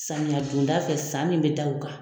Samiya donda fɛ san min bɛ da o kan.